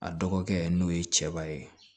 A dɔgɔkɛ n'o ye cɛba ye